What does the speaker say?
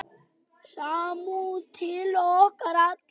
Samúð til okkar allra.